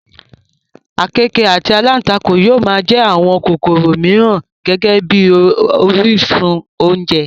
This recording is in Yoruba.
àkekèé àti alántakùn yóò máa jẹ àwọn kòkòrò mìíràn gẹ́gẹ́ bí orísun oúnjẹ